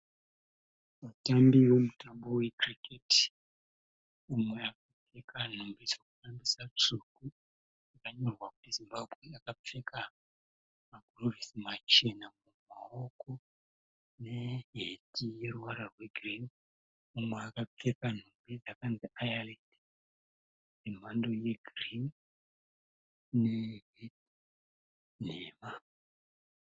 Vatambii vomutambo wekiriketi. Umwe akapfeka nhumbi dzekutambisa tsvuku dzakanyorwa kuti Zimbabwe, akapfeka magirovhisi machena mumawoko neheti yeruvara rwegirini. Mumwe akapfeka nhumbi dzakanzi ayarendi dzemhando yegirini neheti nhema.